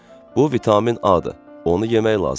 Bu vitamin A-dır, onu yemək lazımdır.